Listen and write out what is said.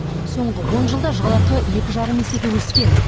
соңғы он жылда жалақы екі жарым есеге өскен